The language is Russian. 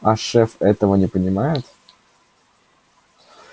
а шеф этого не понимает